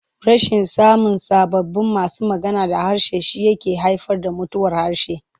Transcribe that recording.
Rashin samun sababbin masu magana da harshe shi yake haifar da mutuwar harshe.